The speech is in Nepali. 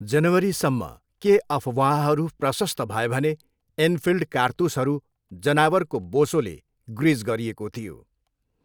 जनवरीसम्म, के अफवाहहरू प्रशस्त भए भने एनफिल्ड कारतुसहरू जनावरको बोसोले ग्रिज गरिएको थियो।